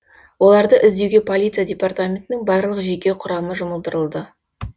оларды іздеуге полиция департаментінің барлық жеке құрамы жұмылдырылды